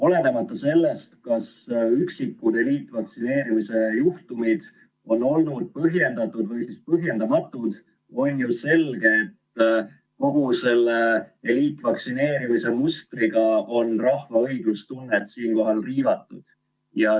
Olenemata sellest, kas üksikud eliitvaktsineerimise juhtumid on olnud põhjendatud või põhjendamatud, on ju selge, et kogu selle eliitvaktsineerimise mustriga on rahva õiglustunnet riivatud.